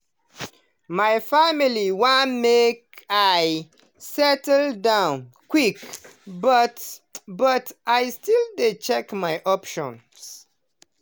my family want make i settle down quick but but i still dey check my options.